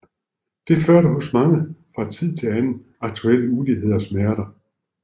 Det fører hos mange fra tid til anden akutte ulidelige smerter